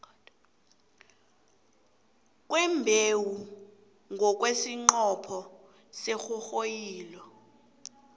kwembewu ngomnqopho wesinghonghoyilo